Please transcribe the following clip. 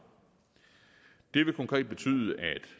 det vil konkret betyde at